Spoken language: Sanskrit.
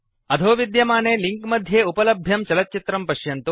अधः विद्यमाने लिंक मध्ये उपलभ्यं चलच्चित्रं पश्यन्तु